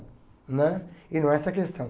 Né? E não é essa a questão.